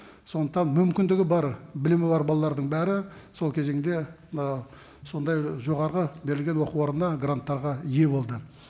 сондықтан мүмкіндігі бар білімі бар балалардың бәрі сол кезеңде ы сондай жоғарғы берілген оқу орында гранттарға ие болды